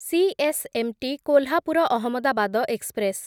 CSMT Kolhapur Ahmedabad express